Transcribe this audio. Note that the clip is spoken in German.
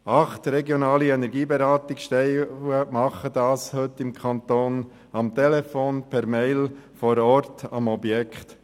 Acht regionale Energieberatungsstellen machen dies heute im Kanton Bern am Telefon, per E-Mail, vor Ort am Objekt.